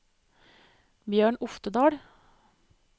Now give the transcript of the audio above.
Bjørn Oftedal